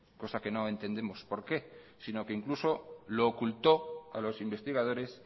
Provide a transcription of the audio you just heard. cosa que no entendemos por qué sino que incluso lo ocultó a los investigadores